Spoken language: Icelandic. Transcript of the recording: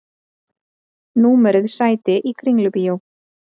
Númeruð sæti í Kringlubíó